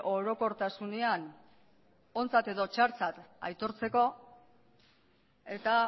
orokortasunean ontzat edo txartzat aitortzeko eta